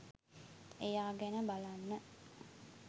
එයා ගැන බලන්න